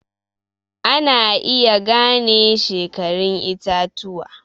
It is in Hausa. Ana iya gane shekarun itatuwa